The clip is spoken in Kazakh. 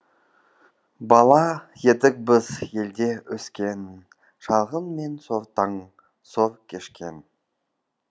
бала едік біз елде өскен шалғын мен сортаң сор кешкен